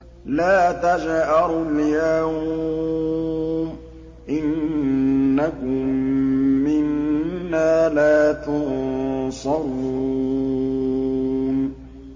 لَا تَجْأَرُوا الْيَوْمَ ۖ إِنَّكُم مِّنَّا لَا تُنصَرُونَ